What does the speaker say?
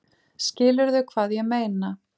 Skilurðu hvað ég meina?